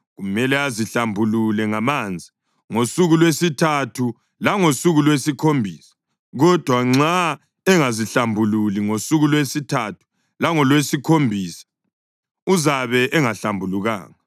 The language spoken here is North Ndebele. Kumele azihlambulule ngamanzi ngosuku lwesithathu langosuku lwesikhombisa; kodwa nxa engazihlambululi ngosuku lwesithathu langolwesikhombisa uzabe engahlambulukanga.